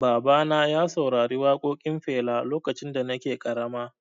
Baba na ya saurari waƙoƙin Fela lokacin da nake ƙarama